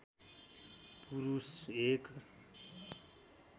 पुरुष एक